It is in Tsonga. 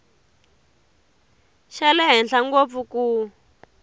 xa le henhla ngopfu ku